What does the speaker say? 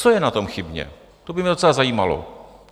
Co je na tom chybně, to by mě docela zajímalo.